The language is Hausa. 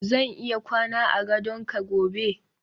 zan iya kwana a gadon ka gobe